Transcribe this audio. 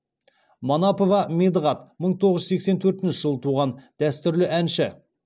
манапов медығат мың тоғыз жүз сексен төртінші жылы туған дәстүрлі әнші